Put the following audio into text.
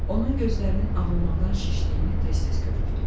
Onun gözlərinin ağlamaqdan şişdiyini tez-tez görürdüm.